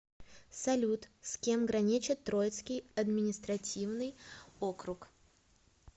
салют с кем граничит троицкий административный округ